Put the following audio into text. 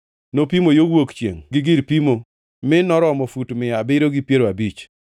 Nopimo yo wuok chiengʼ gi gir pimo; mi noromo fut mia abiriyo gi piero abich.